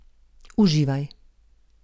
Uživaj.